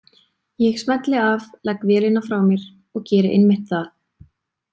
Ég smelli af, legg vélina frá mér og geri einmitt það.